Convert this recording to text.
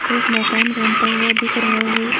एक मकान बनता हुआ दिख रहा है।